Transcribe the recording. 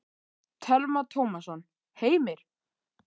Telma Tómasson: Heimir?